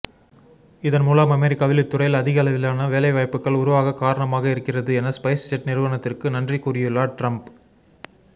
இதன் மூலம் அமெரிக்காவில் இத்துறையில் அதிகளவிலான வேலைவாய்ப்புகள் உருவாக காரணமாக இருக்கிறது என ஸ்பைஸ்ஜெட் நிறுவனத்திற்கு நன்றி கூறியுள்ளார் டிரம்ப்